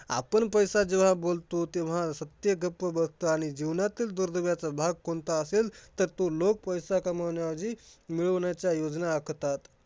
आपण पैसा जेव्हा बोलतो तेव्हा सत्य गप्प बसतं आणि जीवनातील दुर्दैवाचा भाग कोणता असेल तर तो लोक पैसा कमावण्याआधी, मिळवण्याच्या योजना आखतात.